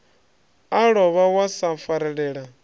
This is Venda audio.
a lovha wa sa farelela